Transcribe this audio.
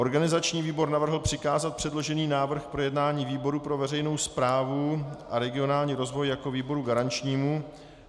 Organizační výbor navrhl přikázat předložený návrh k projednání výboru pro veřejnou správu a regionální rozvoj jako výboru garančnímu.